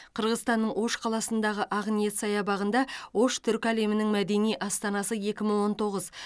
қырғызстанның ош қаласындағы ақниет саябағында ош түркі әлемінің мәдени астанасы екі мың он тоғыз